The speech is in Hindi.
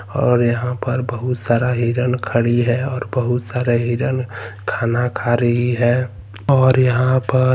और यहां पर बहुत सारा हिरन खड़ी है और बहुत सारे हिरन खाना खा रही है और यहां पर--